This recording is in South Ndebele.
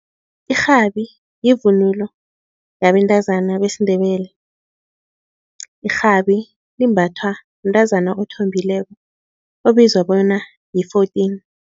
Irhabi yivunulo yabantazana besiNdebele. Irhabi limbathwa mntazana othombileko obizwa bona yi-fourteen.